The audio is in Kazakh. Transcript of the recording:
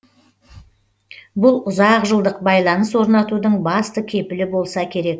бұл ұзақ жылдық байланыс орнатудың басты кепілі болса керек